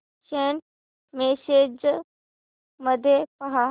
Saint messages मध्ये पहा